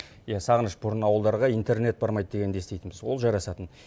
иә сағыныш бұрын ауылдарға интернет бармайды дегенді еститінбіз ол жарасатын